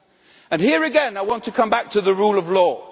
Here again I want to come back to the rule of law.